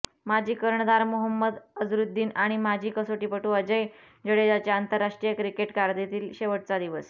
माजी कर्णधार मोहंमद अझरुद्दीन आणि माजी कसोटीपटू अजय जडेजाच्या आंतरराष्ट्रीय क्रिकेट कारकीर्दीतील शेवटचा दिवस